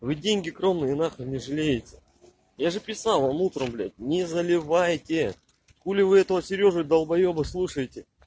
вы деньги кровные нахрен не жалеете я же писал вам утром блядь не заливайте хули вы этого сережу долбоёба слушаете